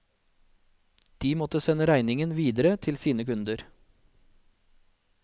De måtte sende regningen videre til sine kunder.